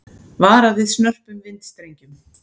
Varað við snörpum vindstrengjum